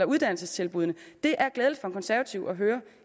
uddannelsestilbuddene det er glædeligt for en konservativ at høre